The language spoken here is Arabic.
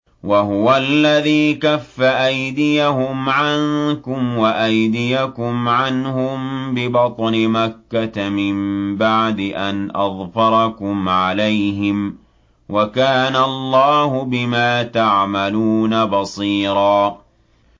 وَهُوَ الَّذِي كَفَّ أَيْدِيَهُمْ عَنكُمْ وَأَيْدِيَكُمْ عَنْهُم بِبَطْنِ مَكَّةَ مِن بَعْدِ أَنْ أَظْفَرَكُمْ عَلَيْهِمْ ۚ وَكَانَ اللَّهُ بِمَا تَعْمَلُونَ بَصِيرًا